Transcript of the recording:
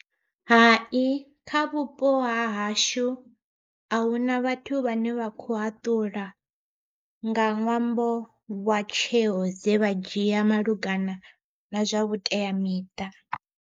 Hai kha vhupo hahashu ahuna vhathu vhane vha kho haṱula nga ṅwambo wa tsheo dze vha dzhia malugana na zwa vhuteamiṱa.